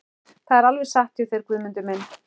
Það er alveg satt hjá þér Guðmundur minn.